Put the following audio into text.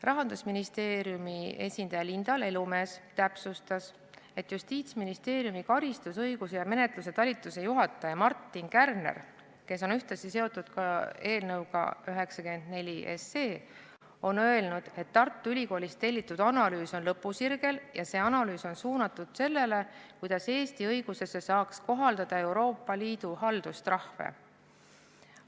Rahandusministeeriumi esindaja Linda Lelumees täpsustas, et Justiitsministeeriumi karistusõiguse ja menetluse talituse juhataja Markus Kärner, kes on ühtlasi seotud ka eelnõuga 94, on öelnud, et Tartu Ülikoolist tellitud analüüs on lõpusirgel ja see analüüs on suunatud sellele, kuidas Eesti õiguses saaks kohaldada Euroopa Liidu haldustrahve.